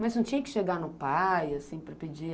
Mas não tinha que chegar no pai, assim, para pedir?